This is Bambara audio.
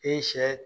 E ye sɛ